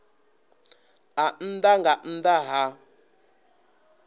a nnḓa nga nnḓa ha